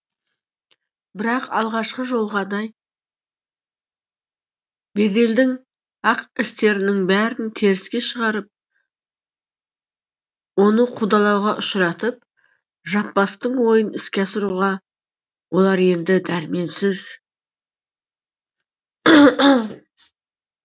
бірақ алғашқы жолғадай беделдің ақ істерінің бәрін теріске шығарып оны қудалауға ұшыратып жаппастың ойын іске асыруға олар енді дәрменсіз